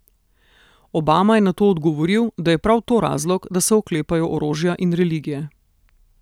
Obama je na to odgovoril, da je prav to razlog, da se oklepajo orožja in religije.